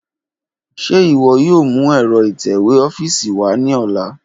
Ṣe iwọ yoo mu ẹ́rọ ítẹ́wé ọ́fíìsì wa ni ọla?